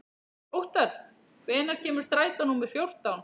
Óttar, hvenær kemur strætó númer fjórtán?